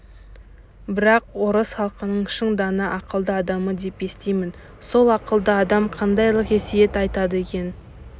бірақ орыс халқының шын дана ақылды адамы деп естимін сол ақылды адам қандайлық өсиет айтады екен